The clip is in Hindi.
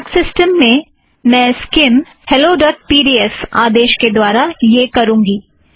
मेरे मॅक सिस्टम पर मैं Skim hello dot P D F Skim helloपीडीएफ आदेश के द्वारा यह करुँगी